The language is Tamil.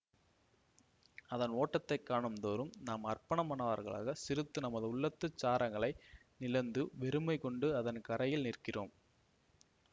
அதன் ஓட்டத்தைக்காணும்தோறும் நாம் அற்பமானவர்களாக சிறுத்து நமது உள்ளத்துச் சாரங்களை நிழந்து வெறுமைகொண்டு அதன் கரையில் நிற்கிறோம்